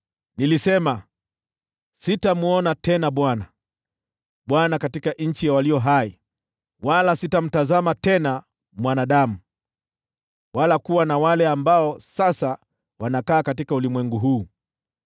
Nilisema, “Sitamwona tena Bwana , Bwana katika nchi ya walio hai, wala sitamtazama tena mwanadamu, wala kuwa na wale ambao sasa wanakaa katika ulimwengu huu.